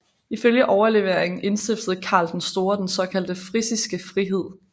Ifølge overleveringen indstiftede Karl den Store den såkaldte frisiske frihed